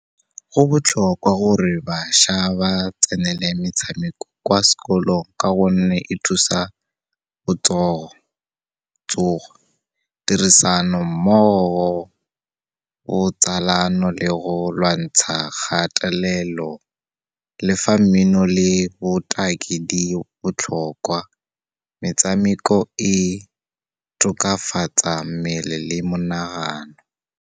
Go botlhokwa gore bašwa ba tsenele metshameko kwa sekolong ka gonne, e thusa tsogo, tirisanommogo, botsalano le go lwantsha kgatelelo. Le fa mmino le botaki di botlhokwa, metsameko e tokafatsa mmele le monagano.